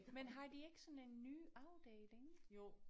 Men har de ikke sådan en ny afdeling